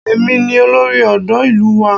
Èmi ni olórí ọ̀dọ́ ìlú wa